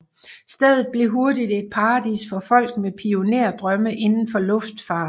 Stedet blev hurtigt et paradis for folk med pionerdrømme inden for luftfart